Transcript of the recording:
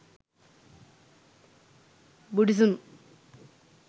buddhism